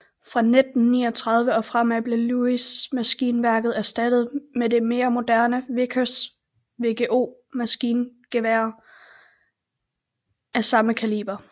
Fra 1939 og fremad blev Lewis maskingeværet erstattet med det mere moderne Vickers VGO maskingevær af samme kaliber